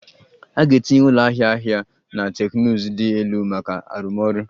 A ga-etinye ụlọ ahịa ahịa ahịa na teknụzụ dị elu maka arụmọrụ